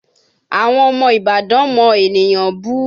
Àwọn ọmọ Ìbàdàn mọ ènìyàn bú